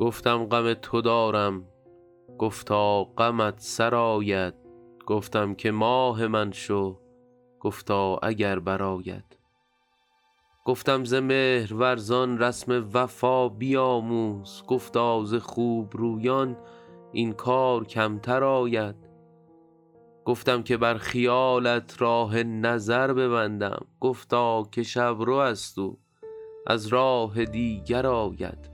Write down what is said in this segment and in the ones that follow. گفتم غم تو دارم گفتا غمت سرآید گفتم که ماه من شو گفتا اگر برآید گفتم ز مهرورزان رسم وفا بیاموز گفتا ز خوب رویان این کار کمتر آید گفتم که بر خیالت راه نظر ببندم گفتا که شب رو است او از راه دیگر آید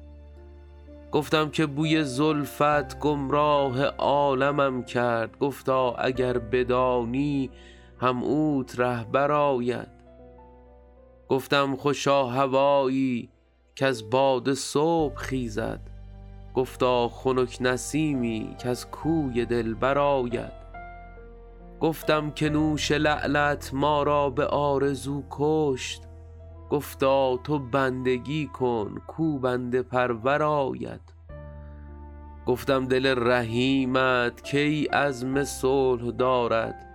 گفتم که بوی زلفت گمراه عالمم کرد گفتا اگر بدانی هم اوت رهبر آید گفتم خوشا هوایی کز باد صبح خیزد گفتا خنک نسیمی کز کوی دلبر آید گفتم که نوش لعلت ما را به آرزو کشت گفتا تو بندگی کن کاو بنده پرور آید گفتم دل رحیمت کی عزم صلح دارد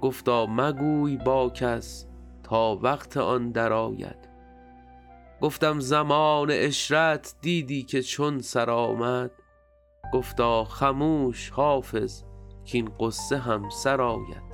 گفتا مگوی با کس تا وقت آن درآید گفتم زمان عشرت دیدی که چون سر آمد گفتا خموش حافظ کـاین غصه هم سر آید